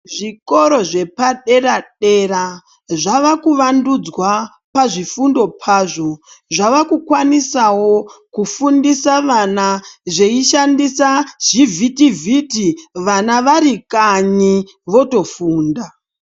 Zvikoro zvepadera dera zvavakuvandudzwa pazvifundo pazvo zvava kukwanisawo kufundisa vana zveishandisa zvivhitivhiti vana vari kanyi votofunda.